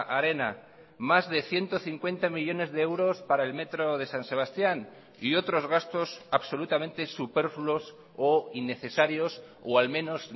arena más de ciento cincuenta millónes de euros para el metro de san sebastián y otros gastos absolutamente superfluos o innecesarios o al menos